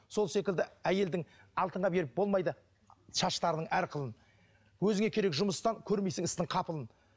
сол секілді әйелдің алтынға беріп болмайды шаштарының әр қылын өзіңе керек жұмыстан көрмейсің істің қапылын